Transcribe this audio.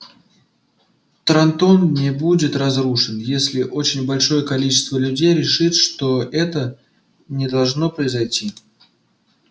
трантон не будет разрушен если очень большое количество людей решит что это не должно произойти